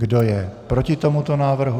Kdo je proti tomuto návrhu?